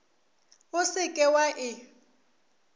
o se ke wa e